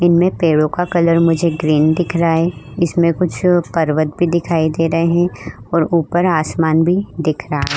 इनमें पेड़ों का कलर मुझे ग्रीन दिख रहा है। इसमें कुछ पर्वत भी दिखाई दे रहे हैं और ऊपर आसमान भी दिख रहा है।